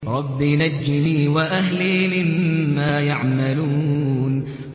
رَبِّ نَجِّنِي وَأَهْلِي مِمَّا يَعْمَلُونَ